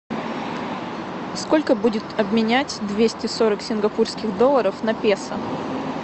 сколько будет обменять двести сорок сингапурских долларов на песо